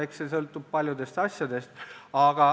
Eks see sõltub paljudest asjadest.